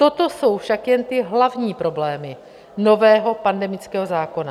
Toto jsou však jen ty hlavní problémy nového pandemického zákona.